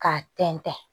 K'a tɛntɛn